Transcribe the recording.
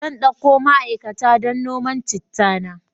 Zan dauko ma'aikata aiki don noman chitta na.